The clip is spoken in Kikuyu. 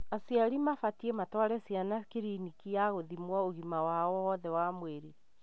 Aciari mabatie matware ciana kliniki ya gũthimwo ũgima wao wothe wa nwĩrĩ.